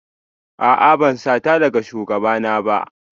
A'a ban sata daga shugabana ba